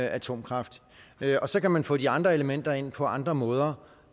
atomkraft og så kan man få de andre elementer ind på andre måder